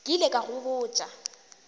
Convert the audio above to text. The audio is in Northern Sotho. ke ile ka go botša